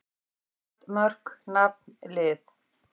England: Mörk- Nafn- Lið.